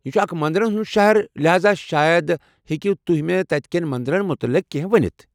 یہ چُھ اکھ مٔنٛدرن ہُنٛد شہر، لحاذا شاید ہٮ۪کِو تُہۍ مے٘ تتہِ کٮ۪ن منٛدرن متعلق کیٚنٛہہ ؤنتھ؟